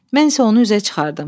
Mən isə onu üzə çıxardım.